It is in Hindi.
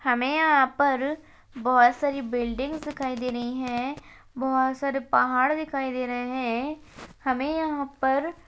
हमे यहाँ पर बहोत सारी बिल्डिंग्स दिखाई दे रही हैं बहोत सारे पहाड़ दिखाई दे रहे हैं हमें यहाँ पर --